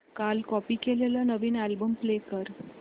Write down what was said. काल कॉपी केलेला नवीन अल्बम प्ले कर